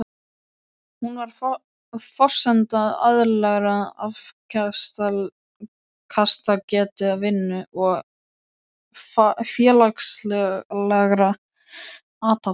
Hún er forsenda eðlilegrar afkastagetu, vinnu og félagslegra athafna.